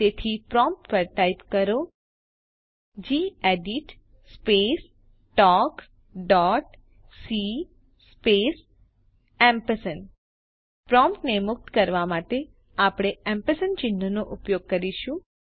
તેથી પ્રોમ્પ્ટ પર ટાઇપ કરો gedit space talk dot C space પ્રોમ્પ્ટને મુક્ત કરવા માટે આપણે એમપરસેન્ડ એએમપી ચિહ્નનો ઉપયોગ કરીશું